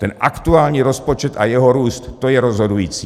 Ten aktuální rozpočet a jeho růst, to je rozhodující.